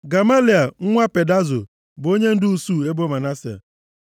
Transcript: Gamaliel nwa Pedazo bụ onyendu usuu ebo Manase.